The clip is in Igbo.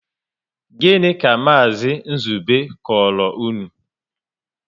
Gịnị ka Maazi Nzube koro unu?